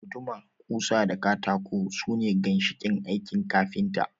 Guduma, ƙusa da katako su ne ginshiƙan aikin kafinta